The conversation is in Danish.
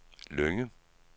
Lynge